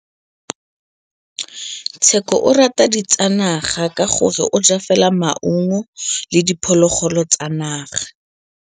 Tshekô o rata ditsanaga ka gore o ja fela maungo le diphologolo tsa naga.